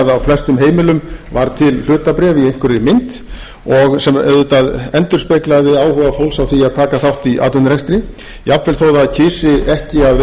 flestum heimilum var til hlutabréf í einhverri mynd og sem auðvitað endurspeglaði áhuga fólks á því að taka þátt í atvinnurekstri jafnvel þó það kysi ekki að vera